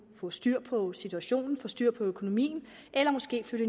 få styr på situationen få styr på økonomien eller måske flytte